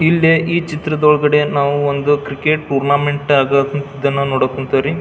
ಇಲ್ಲಿ ಈ ಚಿತ್ರದೊಳಗಡೆ ನಾವು ಒಂದು ಕ್ರಿಕೆಟ್ ಟೂರ್ನ್ಮೆಂಟ್ ಅದು ಇದನ್ನ ನೋಡಕ್ ಕುಂತವ್ರಿ.